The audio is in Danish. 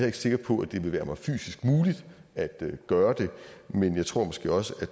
ikke sikker på at det ville være mig fysisk muligt at gøre det men jeg tror måske også at